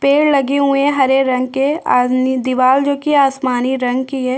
पेड़ लगे हुए है हरे रंग के और ये दिवार जो की आसमानी रंग की है।